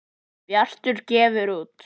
Bjartur gefur út.